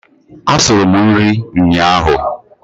Asuru m nri ụnyaahụ.